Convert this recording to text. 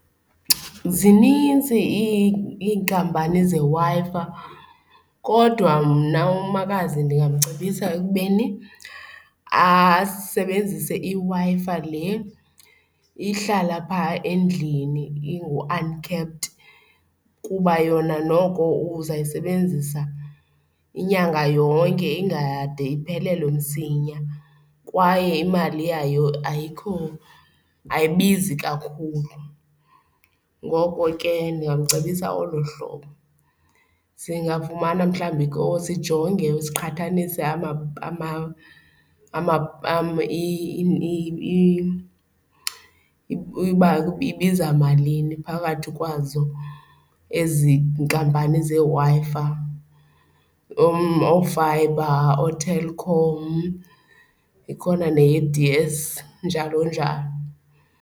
Zinintsi iinkampani zeWi-Fi kodwa mna umakazi ndingamcebisa ekubeni asebenzise iWi-Fi le ihlala phaa endlini ingu-uncapped kuba yona noko uzawuyisebenzisa inyanga yonke ingade iphelelwe msinya kwaye imali yayo ayikho ayibizi kakhulu, ngoko ke ndingamcebisa olo hlobo. Singafumana mhlawumbi ke sijonge siqhathanise uba ibiza malini phakathi kwazo ezi nkampani zeWi-Fi, oofayibha, ooTelkom ikhona neye-D_S, njalo njalo.